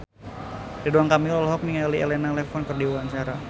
Ridwan Kamil olohok ningali Elena Levon keur diwawancara